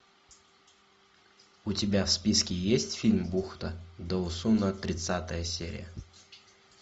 у тебя в списке есть фильм бухта доусона тридцатая серия